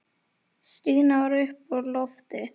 Stína var uppi á lofti.